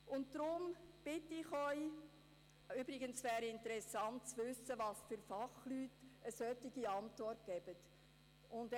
Deshalb bitte ich Sie ... Übrigens wäre es interessant zu wissen, welche Fachleute eine solche Antwort geben.